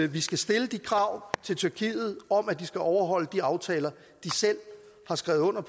vi skal stille krav til tyrkiet om at de skal overholde de aftaler de selv har skrevet under